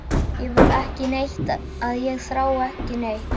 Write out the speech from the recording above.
Ég vil ekki neitt og ég þrái ekki neitt.